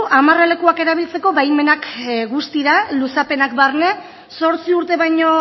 amarralekuak erabiltzeko baimenak guztira luzapenak barne zortzi urte baino